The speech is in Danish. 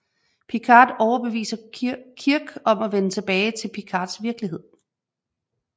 Picard overbeviser Kirk om at vende tilbage til Picards virkelighed